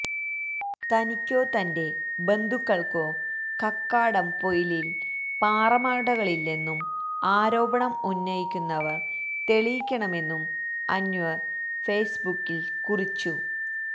തനിക്കോ തന്റെ ബന്ധുക്കള്ക്കോ കക്കാടംപൊയിലില് പാറമടകളില്ലെന്നും ആരോപണം ഉന്നയിക്കുന്നവര് തെളിയിക്കണമെന്നും അന്വര് ഫേസ്ബുക്കില് കുറിച്ചു